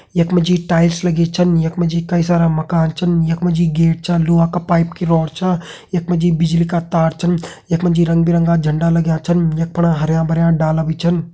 यख मा टाइटल्स लगी छन यख मा जी कई सारा माकन छन यख मा जी गेट छलुहा का पाइप की रोड छ यख मा जी बिजली का तार छन यख मा जी रंग बिरंगा झंडा लग्यां छनयख फणा हरयां भर्यां डाला भी छन।